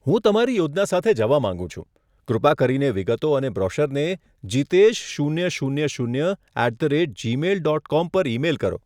હું તમારી યોજના સાથે જવા માંગુ છું, કૃપા કરીને વિગતો અને બ્રોશરને જિતેશ શૂન્ય શૂન્ય શૂન્ય at the rate Gmail dot com પર ઇમેઇલ કરો.